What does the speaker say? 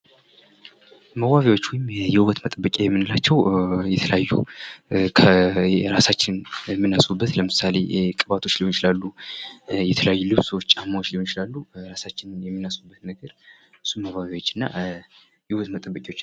መዋቢያዎች ወይም የውበት መጠበቂያዎች የምንላቸው የተለያዩ እራሳችን የምናስውውብበት ለምሳሌ ቅባቶች ሊሆኑ ይችላሉ ልብሶች ጫማዎች ሊሆኑ ይችላሉ። እራሳችንን የምናስውውብበት ነገር መዋቢያዎችና የውበት መጠበቂያዎች።